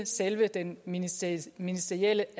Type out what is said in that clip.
selve den ministerielle ministerielle